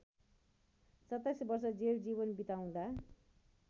२७ वर्ष जेल जीवन बिताउँदा